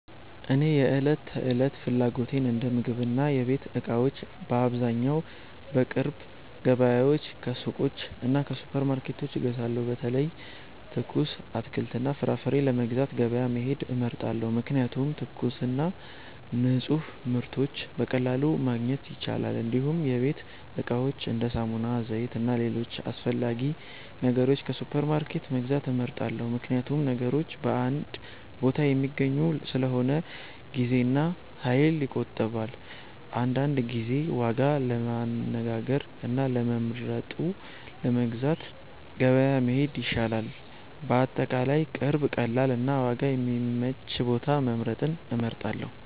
እኔ የዕለት ተዕለት ፍላጎቶቼን እንደ ምግብና የቤት እቃዎች በአብዛኛው ከቅርብ ገበያዎች፣ ከሱቆች እና ከሱፐርማርኬቶች እገዛለሁ። በተለይ ትኩስ አትክልትና ፍራፍሬ ለመግዛት ገበያ መሄድ እመርጣለሁ፣ ምክንያቱም ትኩስና ንፁህ ምርቶች በቀላሉ ማግኘት ይቻላል። እንዲሁም የቤት እቃዎችን እንደ ሳሙና፣ ዘይት እና ሌሎች አስፈላጊ ነገሮች ከሱፐርማርኬት መግዛት እመርጣለሁ፣ ምክንያቱም ነገሮች በአንድ ቦታ የሚገኙ ስለሆነ ጊዜና ኃይል ይቆጠባል። አንዳንድ ጊዜ ዋጋ ለማነጋገር እና ለመርጠው ለመግዛት ገበያ መሄድ ይሻላል። በአጠቃላይ ቅርብ፣ ቀላል እና ዋጋ የሚመች ቦታ መምረጥን እመርጣለሁ።